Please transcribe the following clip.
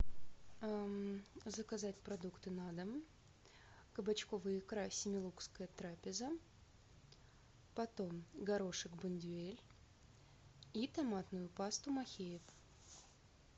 заказать продукты на дом кабачковая икра семилукская трапеза потом горошек бондюэль и томатную пасту махеев